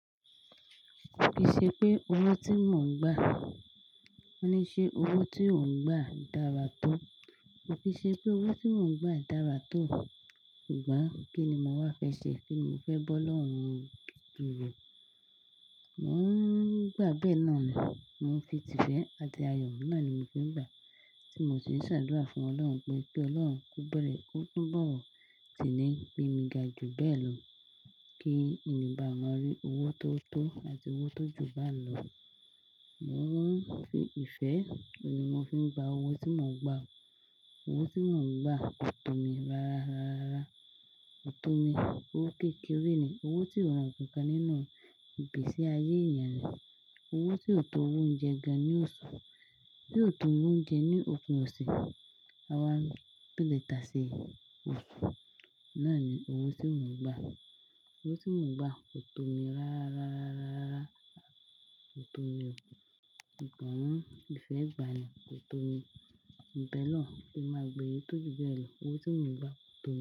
Kì í ṣe pé owó tí mò ń gbà, ní ṣe owó tí ò ń gbà dára tó. Kò kì í ṣe pé owó tí mò ń gbà dára tó. Ṣùgbọ́n kíni mo wá fẹ ṣe? Kíni mo fẹ́ bọ́ lọ́hùn ún durk? Mò ń gbà bẹ́ẹ̀ náà ni, mò ń fi ìtìfẹ́ àti ayọ̀, náà ni mo fi ń gbà. Tí mo sì ń ṣàdúrà fún ọlọ́run pé, pé ọlọ́run kó bẹ̀rẹ̀, kó túnbọ̀ wọ̀tí ni pín mi ga ju bẹ́ẹ̀ lọ, kí èmi bá ma rí owó tó tó àti owó tó jù bá n lọ. Mò ń fi ìfẹ́, òní mo fi ń gba owó tí mò ń gbà. Owó tí mò ń gbà kò tó mi rárá, rárá, rárá, rárá. Kò tó mi, owó kékeré ni, owó tí ò ràn kankan nínú igbèsè ayé ènìyàn ní. Owó tí ò tó owó oúnjẹ ga ní òṣù, tí ò tó oúnjẹ ní opin ọ̀ṣẹ̀, àwa pílètà ṣe òṣù. Náà ni owó tí mò ń gbà. Owó tí mò ń gbà kò tó mi rárá, rárá, rárá, rárá, rárá. Kò tó mi, subọn ìfẹ́ gba ni, kò tó mi. Ìbẹ lọ́, kí n má gbé e tó ju bẹ́ẹ̀ lọ. Owó tí mò ń gbà kò tó mi.